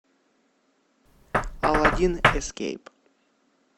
аладдин эскейп